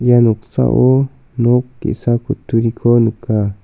ia noksao nok ge·sa kutturiko nika.